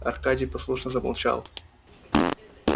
аркадий послушно замолчал